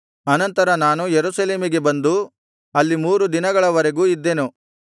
ಅನಂತರ ನಾನು ಯೆರೂಸಲೇಮಿಗೆ ಬಂದು ಅಲ್ಲಿ ಮೂರು ದಿನಗಳವರೆಗೂ ಇದ್ದೆನು